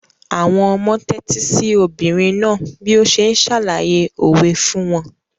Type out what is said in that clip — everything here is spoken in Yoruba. Àwọn ọmọ tẹ́tí sí obìnrin náà bí ó ṣe ń ṣàlàyé òwe fún wọn.